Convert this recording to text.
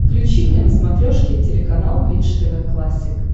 включи мне на смотрешке телеканал бридж тв классик